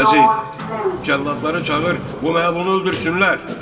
Vəzir, cəlladları çağır, bu məlunu öldürsünlər.